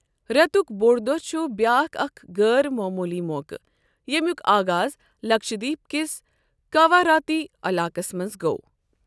رتیبُک بوٚڑ دۄہ چھُ بیاکھ اکھ غٲر معموٗلی موقعہٕ ییٚمیُک آغاز لکشدیپ کِس کاواراتی علاقس منٛز گوٚو۔